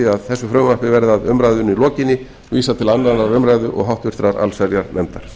að frumvarpinu verði að umræðunni lokinni vísað til annarrar umræðu og háttvirtrar allsherjarnefndar